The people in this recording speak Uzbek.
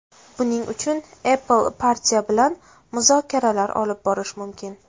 Buning uchun Apple partiya bilan muzokaralar olib borishi mumkin.